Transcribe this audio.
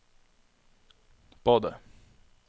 badet